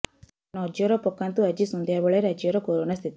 ନଜର ପକାନ୍ତୁ ଆଜି ସନ୍ଧ୍ୟା ବେଳେ ରାଜ୍ୟରେ କରୋନା ସ୍ଥିତି